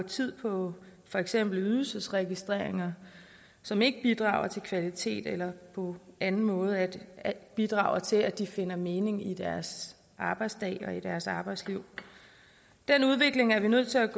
tid på for eksempel ydelsesregistreringer som ikke bidrager til kvalitet eller på anden måde bidrager til at de finder mening i deres arbejdsdag og i deres arbejdsliv den udvikling er vi nødt til at